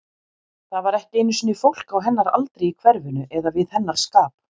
Það var ekki einu sinni fólk á hennar aldri í hverfinu, eða við hennar skap.